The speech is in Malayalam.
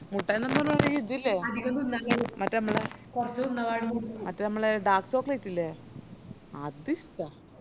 മുട്ടയിന്ന് പറഞ്ഞാല് ഇത് ഇല്ലേ മറ്റേ ഞമ്മളെ മറ്റേ ഞമ്മളെ dark chocolate ഇല്ലേ അത് ഇഷ്ട്ട